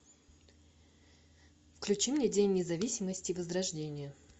включи мне день независимости возрождение